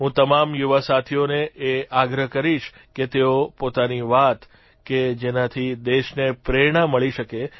હું તમામ યુવાસાથીઓને એ આગ્રહ કરીશ કે તેઓ પોતાની વાત કે જેનાથી દેશને પ્રેરણા મળી શકે